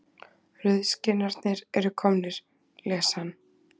Rauðskinnarnir eru komnir, les hann.